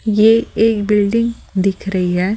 ये एक बिल्डिंग दिख रही है।